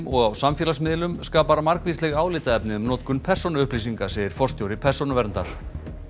og á samfélagsmiðlum skapar margvísleg álitaefni um notkun persónuupplýsinga segir forstjóri Persónuverndar